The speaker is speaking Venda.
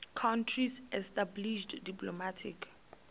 countries established diplomatic